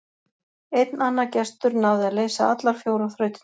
Einn annar gestur náði að leysa allar fjórar þrautirnar.